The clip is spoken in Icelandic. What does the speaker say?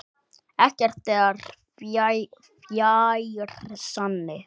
Ekkert er fjær sanni.